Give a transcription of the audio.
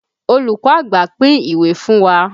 Olùkọ́ àgbà pín ìwé fún wa.